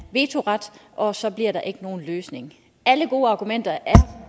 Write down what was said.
vetoret og så bliver der ikke nogen løsning alle gode argumenter er